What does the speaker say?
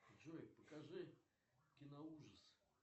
джой покажи киноужас